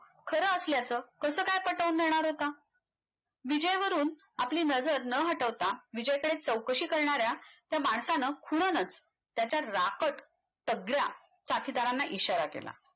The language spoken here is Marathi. खरं असल्याचं कसं काय पटवून देणार होता विजयवरून आपली नजर न हटवता विजयकडे चौकशी करणाऱ्या त्या माणसान खुनानंच त्याच्या राखट तगड्या साथीदारांना इशारा केला